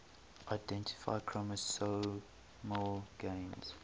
identify chromosomal gains